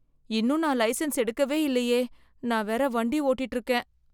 இன்னும் நான் லைசென்ஸ் எடுக்கவே இல்லையே. நான் வேற வண்டி ஓட்டிட்டு இருக்கேன்.